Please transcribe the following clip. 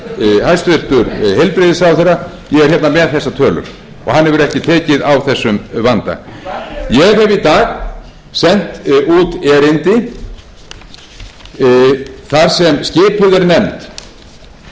heilbrigðisráðherra ég er hérna með þessar tölur og hann hefur ekki tekið á þessum vanda ég hef í dag sent út erindi þar sem skipuð